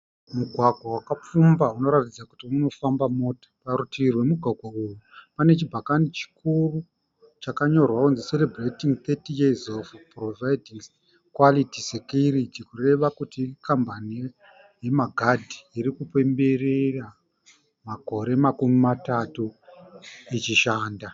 Mugwagwa wakapfumba unoratidza kuti unofamba mota. Parutivi rwemugwagwa uwu pane chibhakani chikuru chakanyorwa kuti "Celebrating 30years of providing quality security", kureva kuti ikambani yemagadhi iri kupemberera makore makumi matatu ichi shanda.